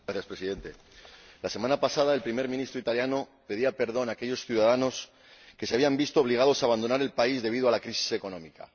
Señor Presidente, la semana pasada, el primer ministro italiano pedía perdón a aquellos ciudadanos que se habían visto obligados a abandonar el país debido a la crisis económica.